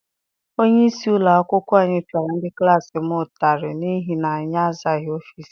Onyeisi ụlọakwụkwọ anyị piara ndị klassi m ụtarị n'ihi na anyị azaghị ọfịịsi ya.